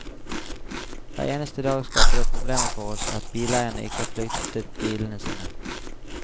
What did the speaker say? Hver eneste dag skaper det problemer for oss at bileierne ikke har flyttet bilene sine.